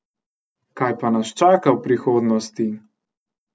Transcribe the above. Kaj pa nas čaka v prihodnosti?